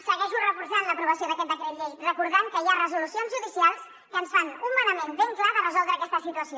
segueixo reforçant l’aprovació d’aquest decret llei recordant que hi ha resolucions judicials que ens fan un manament ben clar de resoldre aquesta situació